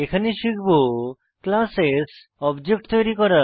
এখানে শিখব classes object তৈরী করা